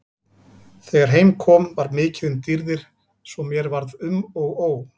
Þegar heim kom var mikið um dýrðir svo mér varð um og ó.